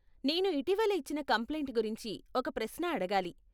నేను ఇటీవల ఇచ్చిన కంప్లైంట్ గురించి ఒక ప్రశ్న అడగాలి.